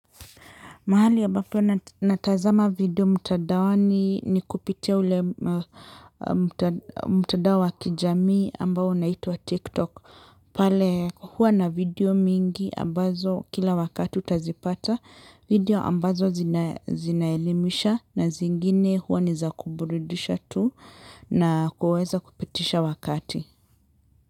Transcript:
Mahali ambapo natazama video mtandaoni ni kupitia ule mtandao wa kijamii ambao unaitwa TikTok. Pale huwa na video mingi ambazo kila wakati utazipata video ambazo zinaelimisha na zingine huwa nizakuburidisha tu na kuweza kupitisha wakati.